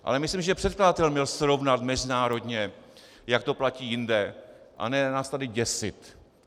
Ale myslím, že předkladatel měl srovnat mezinárodně, jak to platí jinde, a ne nás tady děsit.